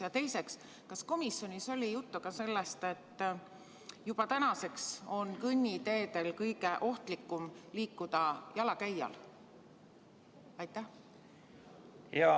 Ja teiseks, kas komisjonis oli juttu ka sellest, et täna on kõnniteedel kõige ohtlikum liikuda just jalakäijal?